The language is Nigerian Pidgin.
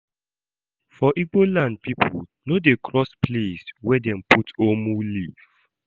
For Igbo land pipo no dey cross place were dem put "omu" leaf.